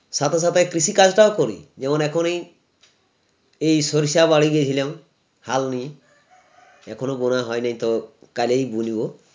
সাথে সাথে কৃষিকাজ টাও করি যেমন এখনই এই সরিষা বাড়ি গেহিলাম হাল নি এখনো বোনা হয়নি তো কাল এই বুনবো